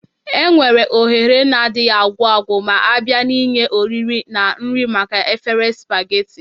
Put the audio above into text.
Enwere ohere na-adịghị agwụ agwụ ma a bịa n'ihe oriri na nri maka efere spageti.